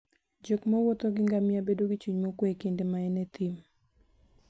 jok mwuotho gi ngamia bedo gi chuny mokuwe e kinde ma en e thim.